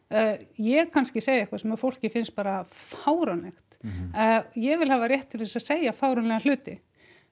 ég er kannski að segja eitthvað sem fólki finnst bara fáránlegt ég vil hafa rétt til þess að segja fáránlega hluti